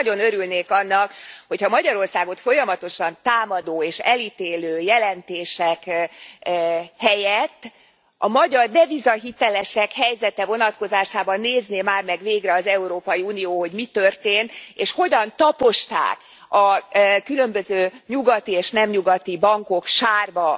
Nagyon örülnék annak, hogy ha a Magyarországot folyamatosan támadó és elítélő jelentések helyett a magyar devizahitelesek helyzete vonatkozásában nézné már meg végre az Európai Unió, hogy mi történt, és hogyan taposták a különböző nyugati és nem nyugati bankok sárba